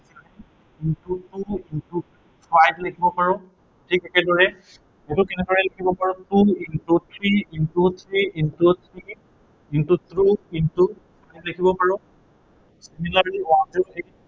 into two into five লিখিব পাৰো। ঠিক, একেদৰে এনেকেও লিখিব পাৰো। সেইটো কেনেদৰে লিখিব পাৰো two into three into three into three into two into এনেকেও লিখিব পাৰো।